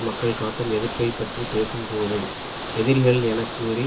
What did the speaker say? மக்கள் காட்டும் எதிர்ப்பை பற்றி பேசும்போது எதிரிகள் என கூறி